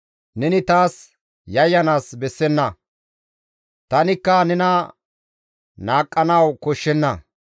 Neni taas yayyanaas bessenna; tanikka nena naaqqanawu koshshenna.